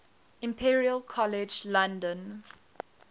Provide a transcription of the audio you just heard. imperial college london